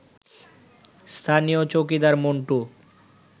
স্থানীয় চৌকিদার মন্টু